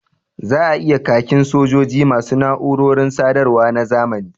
Za a yi khakin sojoji ma su na’urorin sadarwa na zamani